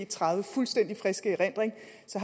tredive fuldstændig frisk i erindring